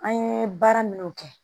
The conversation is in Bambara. An ye baara minnu kɛ